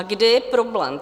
A kde je problém?